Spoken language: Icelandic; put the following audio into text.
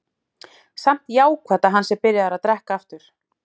Samt jákvætt að hann sé byrjaður að drekka aftur.